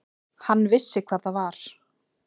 Hann vissi hvað það var.